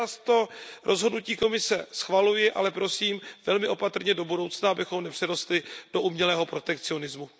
Takže já to rozhodnutí Komise schvaluji, ale prosím velmi opatrně do budoucna, abychom nepřerostli do umělého protekcionismu.